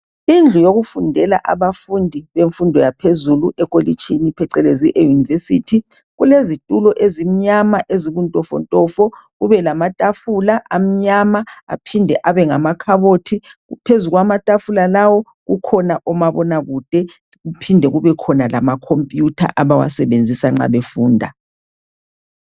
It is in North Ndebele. Indlu yokufundela abafundi bemfundo yaphezulu ekolitshini phecelezi eyunivesithi kulezitulo ezimnyama ezibuntofontofo kube lamatafula amnyama aphinde abe ngamakhabothi phezukwamayafula lawo kukhona omabona kude kuphinde kubekhona lama khompiyutha abawasebenzisa nxa befunda.